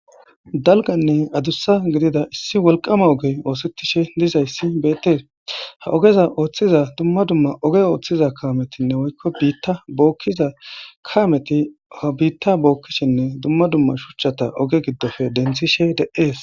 Dalganne adussa gidida issi wolqama ogey oosettishe dizayssi beetees ha ogeza ooththiza dumma dumma oge ooththiza kaametinne woykko biitta bookkiza kaameti ha biitta bookkishinne dumma dumma shuchchata oge giddofe denthishe de's.